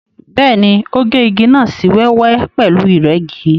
Bẹ́ẹ̀ni, ó gé igi náà sí wẹ́wẹ́ pẹ̀lú ìrẹ́gi.